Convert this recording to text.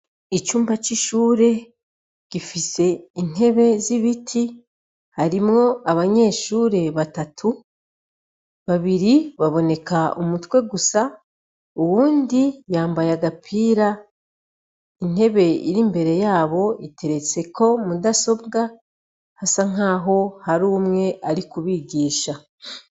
icumba c' ishure gifise intebe zibiti harimwo abanyeshure batatu babiri baboneka umutwe gusa uwundi yambaye agapira intebe irimbere yabo iteretseko mudasobwa hasa nkaho hari umwe arikubigisha.